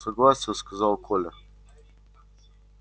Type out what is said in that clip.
согласен сказал коля